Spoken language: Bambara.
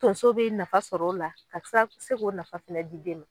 Donso bɛ nafa sɔrɔ o la ka se se ko nafa fɛnɛ di den ma.